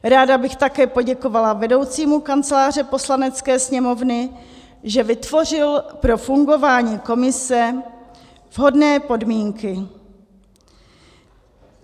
Ráda bych také poděkovala vedoucímu Kanceláře Poslanecké sněmovny, že vytvořil pro fungování komise vhodné podmínky.